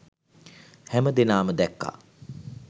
හැම දෙනාම දැක්ක